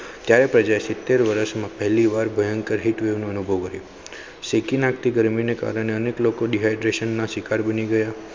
ક્યારે પ્રજા સીતેર વર્ષમાં પહેલીવાર ભયંકર heat wave નું અનુભવ કર્હયું શેકી નાખ તી ગરમીને કારણે અનેક લોકો dehydration ના શિકાર બની ગયા.